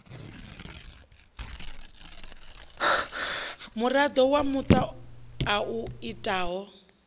muraḓo wa muṱa a itaho